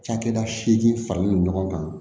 Cakɛda seegin faralen don ɲɔgɔn kan